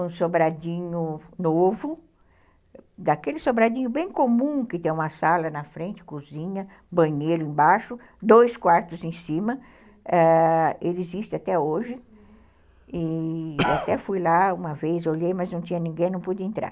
um sobradinho novo, daquele sobradinho bem comum que tem uma sala na frente, cozinha, banheiro embaixo, dois quartos em cima, ãh, ele existe até hoje, e até fui lá uma vez, olhei, mas não tinha ninguém, não pude entrar.